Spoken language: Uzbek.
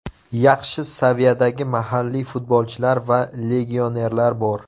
Yaxshi saviyadagi mahalliy futbolchilar va legionerlar bor.